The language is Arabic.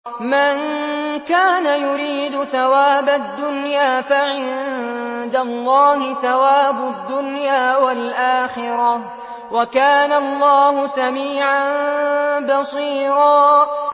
مَّن كَانَ يُرِيدُ ثَوَابَ الدُّنْيَا فَعِندَ اللَّهِ ثَوَابُ الدُّنْيَا وَالْآخِرَةِ ۚ وَكَانَ اللَّهُ سَمِيعًا بَصِيرًا